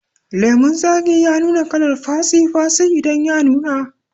Lemun zaki ya nuna kalar fatsi fatsi idan ya nuna